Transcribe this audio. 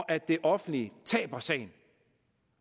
at det offentlige taber sagen